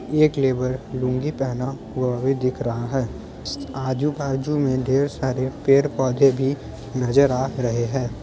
एक लेबर लुंगी पहना हुआ भी दिख रहा है आजू-बाजू में ढेर सारे पेड़-पौधे भी नजर आ रहे हैं।